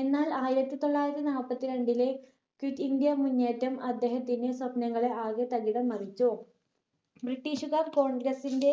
എന്നാൽ ആയിരത്തി തൊള്ളായിരത്തി നാപ്പത്തി രണ്ടിലെ quit ഇന്ത്യ മുന്നേറ്റം അദ്ദേഹത്തിന്റെ സ്വപ്നങ്ങളെ ആകെ തകിടം മറിച്ചു british കാർ congress ന്റെ